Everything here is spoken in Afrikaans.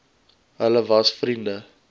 hulle was vriende